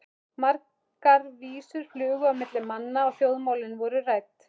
Margar vísur flugu á milli manna og þjóðmálin voru rædd.